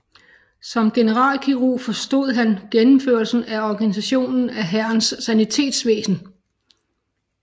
Som generalkirurg forestod han gennemførelsen af organisationen af hærens sanitetsvæsen